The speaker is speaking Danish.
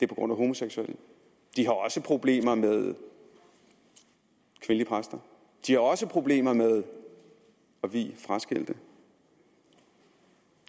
på grund af homoseksuelle de har også problemer med kvindelige præster de har også problemer med at vie fraskilte